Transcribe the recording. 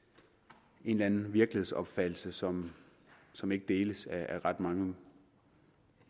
en eller anden virkelighedsopfattelse som som ikke deles af ret mange